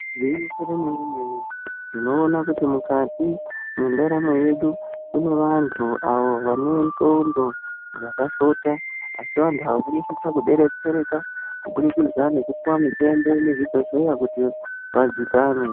Igwinyiso remene-mene tinoona kuti mukati mwendaramo yedu kune vantu avo vane ndxondo dzakashota asi vantu ava vanosisa kubetsereka kubudikidza nekupiwa mitombo muzvibhedhleya kuti vadzikame.